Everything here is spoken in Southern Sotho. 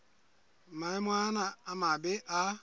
maemo ana a mabe a